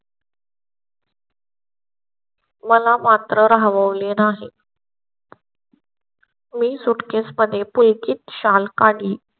मला मात्र राहाव ले नाही. मी सुटकेस मध्ये पुलकित शाल काढली.